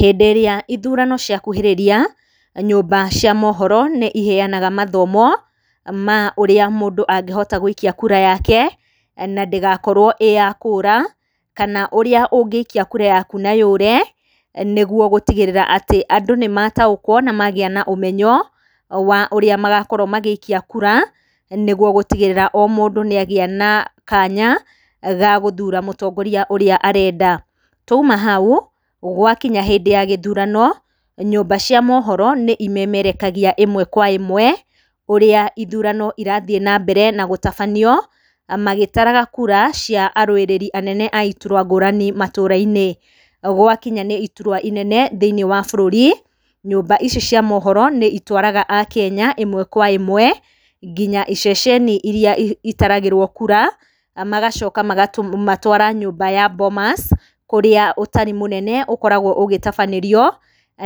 Hĩndĩ ĩrĩa ithurano cia kuhĩrĩria, nyũmba cia mohoro nĩ iheyanaga mathomo, ma ũrĩa mũndũ angĩhota gwĩikia kura yake, na ndĩgakorwo ĩyakũra, kana ũrĩa ũngĩikia kura yaku na yũre, nĩguo gũtigĩrĩra atĩ andũ nĩ mataũkwo na magĩa na ũmenyo, wa ũrĩa magakorwo magĩikia kura, nĩguo gũtikgĩrĩra o mũndũ, nĩagĩa na kanya, gagũthura mũtongoria ũrĩa arenda, twaima hau, gwakinya hĩndĩ wa gĩthurano, nyũmba cia mohoro nĩ imemerekagia ĩmwe kwa ĩmwe, ũrĩa ithurano irathiĩ na mbere na gũtabanio, magĩtaraga kura cia aruĩrĩri anene a iturwa ngũrani matũra-inĩ, gwakinya ni iturwa inene thĩinĩ wa bũrũri, nyũmba ici cia mohoro nĩ itwaraga a Kenya, ĩmwe, kwa ĩmwe, nginya iceceni iria itaragĩrwo kura, magacoka magatũmatwara nyũmba ya Bomas, kũrĩa ũtari mũnene ũkoragwo ũgĩtabanĩrio,